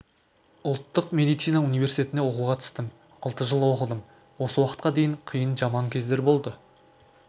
ұлттық медицина университетіне оқуға түстім алты жыл оқыдым осы уақытқа дейін қиын жаман кездер болды